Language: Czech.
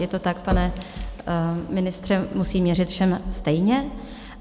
Je to tak, pane ministře, musím měřit všem stejně.